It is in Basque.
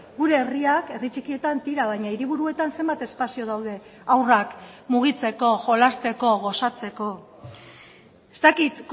gure herriak herri txikietan tira baina hiriburuetan zenbat espazio daude haurrak mugitzeko jolasteko gozatzeko ez dakit